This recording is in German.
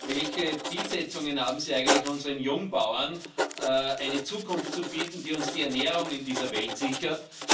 Welche Zielsetzungen haben Sie eigentlich, um unseren Jungbauern eine Zukunft zu bieten, die uns die Ernährung in dieser Welt sichert.